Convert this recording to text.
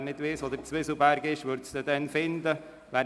Wer nicht weiss, wo der Zwieselberg liegt, findet ihn auf diese Weise.